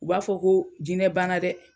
U b'a fɔ ko jinɛ banna dɛ!